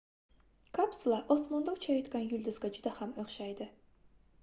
kapsula osmonda uchayotgan yulduzga juda ham oʻxshaydi